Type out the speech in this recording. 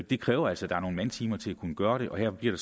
det kræver altså at der er nogle mandetimer til at kunne gøre det og her bliver